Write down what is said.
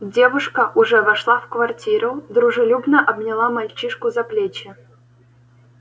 девушка уже вошла в квартиру дружелюбно обняла мальчишку за плечи